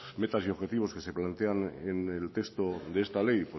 metas y objetivos que se plantean en el texto de esta ley